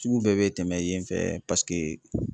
Sugu bɛɛ bɛ tɛmɛ yen fɛ